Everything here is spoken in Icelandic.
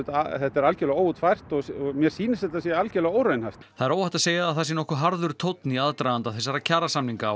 algjörlega óútfært og mér sýnist að þetta sé algjörlega óraunhæft það er óhætt að segja að það sé nokkuð harður tónn í aðdraganda þessara kjarasamninga